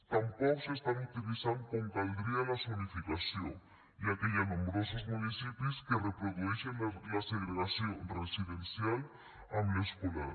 tampoc s’està utilitzant com caldria la zonificació ja que hi ha nombrosos municipis que reprodueixen la segregació residencial amb l’escolar